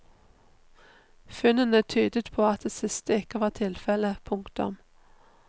Funnene tydet på at det siste ikke var tilfelle. punktum